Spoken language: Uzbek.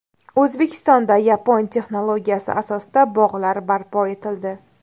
O‘zbekistonda yapon texnologiyasi asosida bog‘lar barpo etildi.